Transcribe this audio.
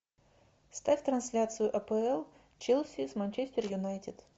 ставь трансляцию апл челси с манчестер юнайтед